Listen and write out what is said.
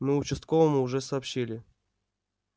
мы участковому уже сообщили